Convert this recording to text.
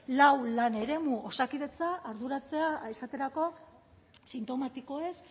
lau lan eremu osakidetza arduratzea esaterako sintomatikoez